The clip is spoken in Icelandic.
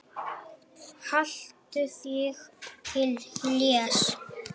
Haltu þig til hlés.